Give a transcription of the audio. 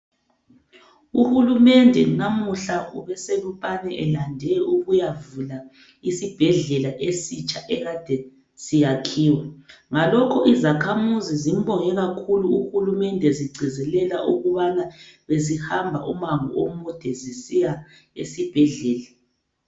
Uhulumende namuhla ubeseLupane elande ukuyavula isibhedlela esitsha ekade siyakhiwa. Ngalokho izakhamuzi zimbonge kakhulu uhulumende zigcizelela ukubana bezihamba umango omude zisiya esibhedlela.